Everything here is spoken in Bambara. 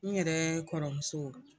N yɛrɛ kɔrɔmuso